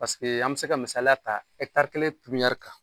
Paseke an bɛ se ka misaliya ta ekitari kelen turu